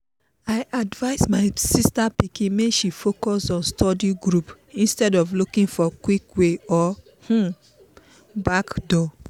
i advise my sister pikin make she focus on study group instead of looking for quick way or um backdoor.